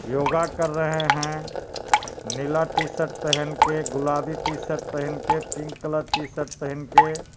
योगा कर रहे हैं नीला टीशर्ट पहन के गुलाबी टीशर्ट पहन के पिंक कलर टीशर्ट पहन के.